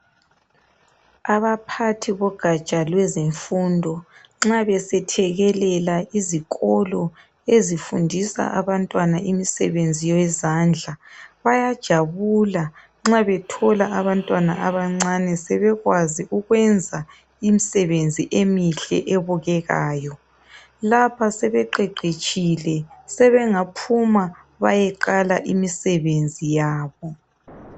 Abaphathi bogatsha lwezemfundo nxa besethekelela izikolo ezifundisa abantwana imisebenzi yezandla, bayajabula nxa bethola abantwana abancane sebekwazi ukwenza imisebenzi emihle ebukekayo. Lapha sebeqeqetshile sebengaphuma bayeqala imisebenzi yabo.